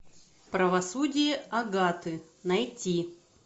правосудие агаты найти